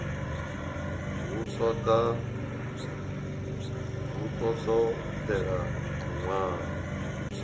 hu ḓo ṱo ḓea luṅwalo